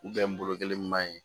n bolo kelen ɲuman ye